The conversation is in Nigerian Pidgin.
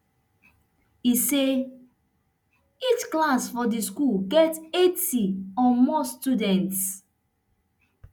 e say each class for di school get eighty or more students